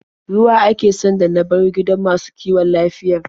Ruwa ake sanda na bar gidan masu kiwon lafiyar.